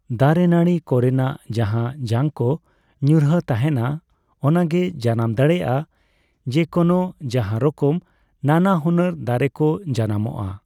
ᱫᱟᱨᱮ ᱱᱟᱹᱬᱤ ᱠᱚᱨᱮᱱᱟᱜ ᱡᱟᱦᱟ ᱡᱟᱝᱠᱚ ᱧᱩᱨᱦᱟᱹ ᱛᱟᱦᱮᱱᱟ ᱚᱱᱟᱜᱮ ᱡᱟᱱᱟᱢ ᱫᱟᱲᱮᱭᱟᱜᱼᱟ ᱡᱮᱠᱚᱱᱚ ᱡᱟᱦᱟᱸᱨᱚᱠᱚᱢ ᱱᱟᱱᱟ ᱦᱩᱱᱟᱹᱨ ᱫᱟᱨᱮᱠᱚ ᱡᱟᱱᱟᱢᱚᱜᱼᱟ ᱾